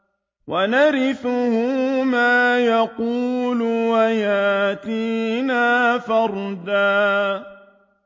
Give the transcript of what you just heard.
وَنَرِثُهُ مَا يَقُولُ وَيَأْتِينَا فَرْدًا